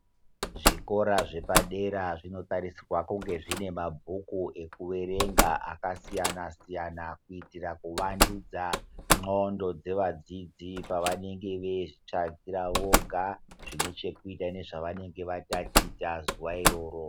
Zvikora zvepadera zvinotarisirwe kunge zvine mabhuku nekuerenga kakwana kuitire kuvandudza ndxondo dzevadzidzi pavanenge veizvitsvakira voga zvine chekuita nezvavanenge vataticha zuwa iroro.